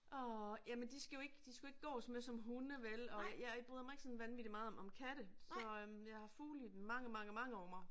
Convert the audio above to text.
Åh jamen de skal jo ikke de skal jo ikke gås med som hunde vel og jeg bryder mig ikke sådan vanvittig meget om om katte så øh jeg har haft fugle i mange mange mange år